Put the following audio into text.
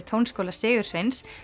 Tónskóla Sigursveins